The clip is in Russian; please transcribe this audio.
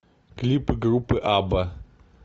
клипы группы абба